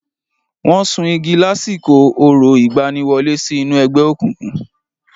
Wọ́n sun igi lásìkò orò ìgbaniwọlé sí inú ẹgbẹ́ òkùnkùn.